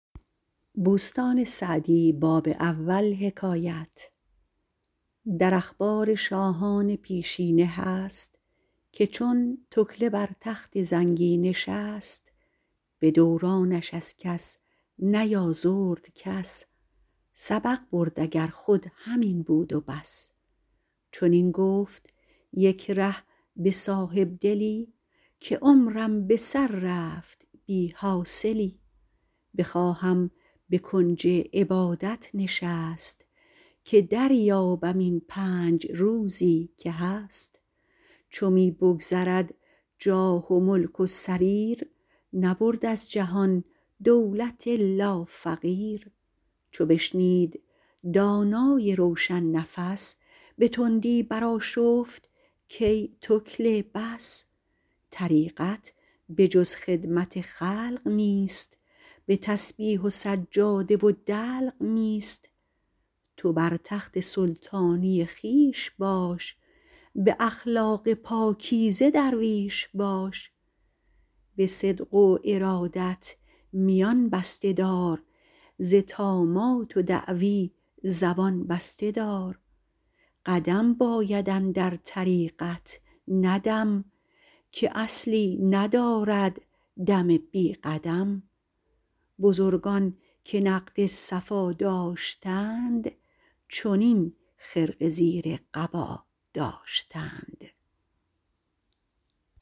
در اخبار شاهان پیشینه هست که چون تکله بر تخت زنگی نشست به دورانش از کس نیازرد کس سبق برد اگر خود همین بود و بس چنین گفت یک ره به صاحبدلی که عمرم به سر رفت بی حاصلی بخواهم به کنج عبادت نشست که دریابم این پنج روزی که هست چو می بگذرد جاه و ملک و سریر نبرد از جهان دولت الا فقیر چو بشنید دانای روشن نفس به تندی برآشفت کای تکله بس طریقت به جز خدمت خلق نیست به تسبیح و سجاده و دلق نیست تو بر تخت سلطانی خویش باش به اخلاق پاکیزه درویش باش به صدق و ارادت میان بسته دار ز طامات و دعوی زبان بسته دار قدم باید اندر طریقت نه دم که اصلی ندارد دم بی قدم بزرگان که نقد صفا داشتند چنین خرقه زیر قبا داشتند